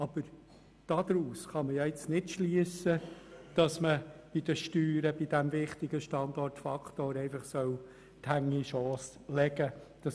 Aber daraus kann man nicht schliessen, dass man beim wichtigen Standortfaktor Steuern die Hände in den Schoss legen soll.